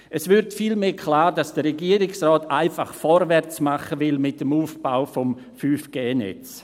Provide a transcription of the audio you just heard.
Es wird vielmehr klar, dass der Regierungsrat einfach vorwärts machen will mit dem Aufbau des 5G-Netzes.